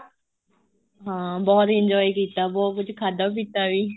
ਹਾਂ ਬਹੁਤ enjoy ਕੀਤਾ ਬਹੁਤ ਕੁੱਝ ਖਾਧਾ ਪੀਤਾ ਵੀ